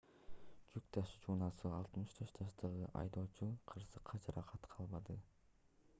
жүк ташуучу унаанын 64 жаштагы айдоочусу кырсыкта жаракат албады